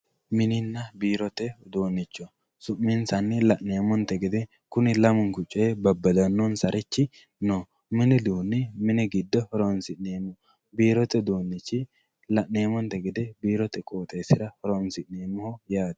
Mininna biirote uduunicho su'minsanni la'neemonte gede kuni lamu'nku coyi babadano'nsari no, mini uduuni mini gido horonsineemoho, biirote uduunichi la'neemontenni gede biirote qooxxesirra horonsi'neemoho yaate